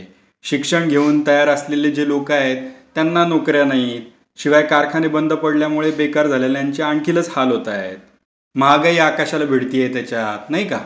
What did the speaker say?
शिक्षण घेऊन तयार असलेले जे लोकं आहेत, त्यांना नोकर् या नाहीत. शिवाय कारखाने बंद पडल्यामुळे बेकार झालेल्यांचे आणखीनच हाल होतायत. महागाई आकाशाला भिडतेय त्याच्यात. नाही का?